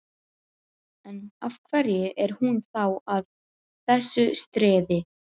En, af hverju er hún þá að þessu streði?